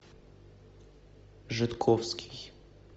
жидковский